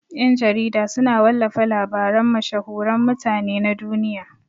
Ƴan-jarida suna wallafa labaran mashhuran mutane na duniya.